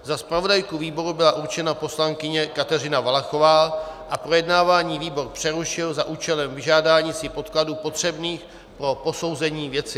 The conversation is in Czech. Za zpravodajku výboru byla určena poslankyně Kateřina Valachová a projednávání výbor přerušil za účelem vyžádání si podkladů potřebných pro posouzení věci.